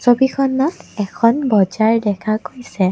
ছবিখনত এখন বজাৰ দেখা গৈছে।